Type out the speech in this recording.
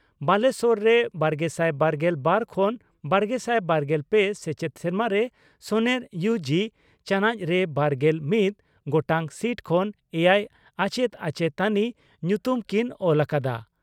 ᱵᱟᱞᱮᱥᱚᱨ ᱨᱮ ᱵᱟᱨᱜᱮᱥᱟᱭ ᱵᱟᱨᱜᱮᱞ ᱵᱟᱨ ᱠᱷᱚᱱ ᱵᱟᱨᱜᱮᱥᱟᱭ ᱵᱟᱨᱜᱮᱞ ᱯᱮ ᱥᱮᱪᱮᱫ ᱥᱮᱨᱢᱟ ᱨᱮ ᱥᱚᱱᱮᱨ ᱤᱭᱩ ᱡᱤ ) ᱪᱟᱱᱚᱪ ᱨᱮ ᱵᱟᱨᱜᱮᱞ ᱢᱤᱛ ᱜᱚᱴᱟᱝ ᱥᱤᱴ ᱠᱷᱚᱱ ᱮᱭᱟᱭ ᱟᱪᱮᱛ ᱟᱪᱮᱛᱟᱱᱤ ᱧᱩᱛᱩᱢ ᱠᱤᱱ ᱚᱞ ᱟᱠᱟᱫᱼᱟ ᱾